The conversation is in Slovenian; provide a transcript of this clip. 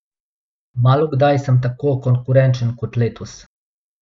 Malokdaj sem tako konkurenčen kot letos.